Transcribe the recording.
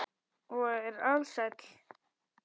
Og er alsæll.